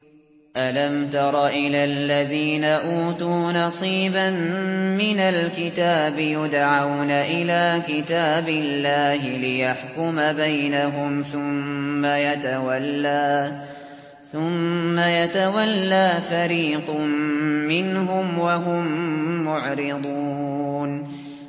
أَلَمْ تَرَ إِلَى الَّذِينَ أُوتُوا نَصِيبًا مِّنَ الْكِتَابِ يُدْعَوْنَ إِلَىٰ كِتَابِ اللَّهِ لِيَحْكُمَ بَيْنَهُمْ ثُمَّ يَتَوَلَّىٰ فَرِيقٌ مِّنْهُمْ وَهُم مُّعْرِضُونَ